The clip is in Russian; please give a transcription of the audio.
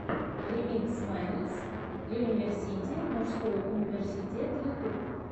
ремикс мэнс юниверсити мужской университет ютюб